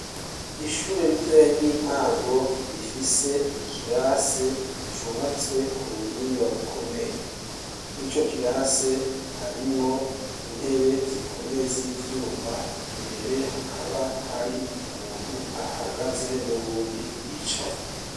Ishure ritoya ryintango rifise ikirase cubatswe kubuhinga bukomeye, mwico kirase harimwo intebe zikomeye zivyuma imbere hakaba hari umuntu ahahagaze nuwundi yicaye.